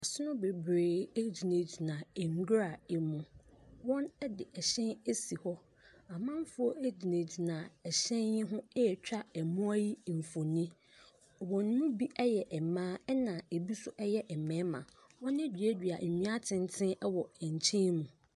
Asono bebree gyingyina nwura mu. Wɔde hyɛn asi hɔ. Amanfoɔ yi gyina hyɛn yi ho retwa amanfoɔ yi mfoni. Wɔn mu bi yɛ mmaa na ebi nso yɛ mmarima. Wɔn aduadua nua atenten wɔ nkyɛmu.